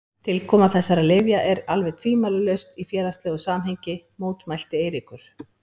Tilkoma þessara lyfja er alveg tvímælalaust í félagslegu samhengi, mótmælti Eiríkur.